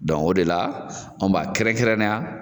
o de la an b'a kɛrɛnkɛrɛnnenya